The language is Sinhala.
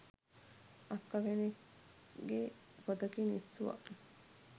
අක්ක කෙනෙක්ගෙ පොතකින් ඉස්සුව